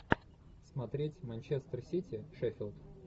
смотреть манчестер сити шеффилд